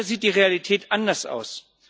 Leider sieht die Realität anders aus.